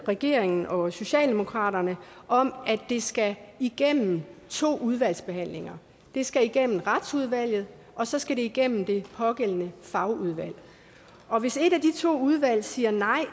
regeringen og socialdemokratiet om at det skal igennem to udvalgsbehandlinger det skal igennem retsudvalget og så skal det igennem det pågældende fagudvalg og hvis et af de to udvalg siger nej